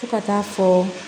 Fo ka taa fɔ